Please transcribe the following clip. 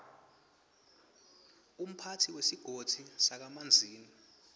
umphatsi wesigodzi sakamanzini